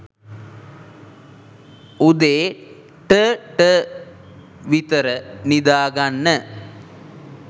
උදේ .ට .ට විතර නිදාගන්න